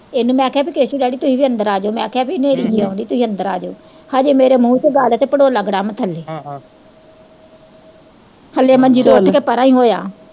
ਇਹਨੂੰ ਮੈੰ ਕਿਹਾ ਕੇਸੂ ਡੇਡੀ ਤੁਹੀਂ ਵੀ ਅੰਦਰ ਆਜੋ, ਮੈਂ ਕਿਹਾ ਭੀ ਹਨੇਰੀ ਜੀ ਆਉਣ ਦੀ ਤੁਹੀਂ ਵੀ ਅੰਦਰ ਆਜੋ, ਨੇਰੀ ਜੀ ਆਉਣ ਦੀ ਤੁਹੀਂ ਅੰਦਰ ਆਜੋ, ਹਜੇ ਮੇਰੇ ਮੂੰਹ ਚ ਗੱਲ ਤੇ ਭੜੋਲਾ ਗਡੰਮ ਥੱਲੇ ਹਜੇ ਮੰੰਜੀ ਤੋਂ ਉੱਠ ਕੇ ਪਰੇ ਹੀ ਹੋਇਆ।